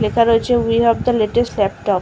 লেখা রয়েছে we have the latest laptop.